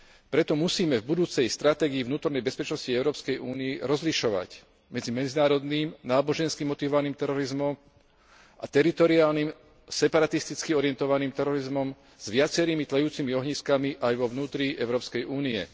Preto musíme v budúcej stratégii vnútornej bezpečnosti Európskej únie rozlišovať medzi medzinárodným, nábožensky motivovaným terorizmom a teritoriálnym, separatisticky orientovaným terorizmom s viacerými tlejúcimi ohniskami aj vo vnútri Európskej únie.